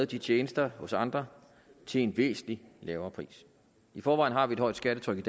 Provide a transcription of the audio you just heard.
de tjenester hos andre til en væsentlig lavere pris i forvejen har vi et højt skattetryk